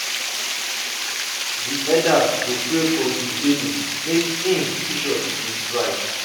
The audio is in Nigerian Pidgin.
di elders go pray for di baby make im im future dey bright.